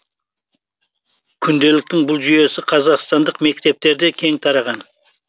күнделіктің бұл жүйесі қазақстандық мектептерде кең тараған